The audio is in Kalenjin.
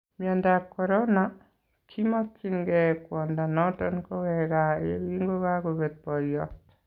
Myandab korona:kimakyingee kwondo noton koweek kaa yekinkokakobeet boyoot